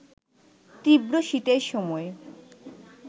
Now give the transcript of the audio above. তীব্র শীতের সময়